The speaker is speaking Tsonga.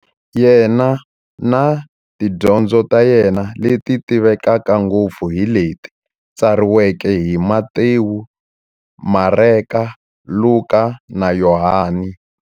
Yena na tidyondzo ta yena, leti tivekaka ngopfu hi leti tsariweke hi-Matewu, Mareka, Luka, na Yohani.